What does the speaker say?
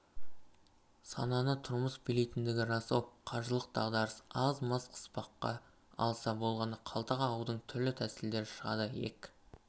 сананы тұрмыс билейтіндігі рас-ау қаржылық дағдарыс аз-маз қыспаққа алса болғаны қалта қағудың түрлі тәсілдері шығады иек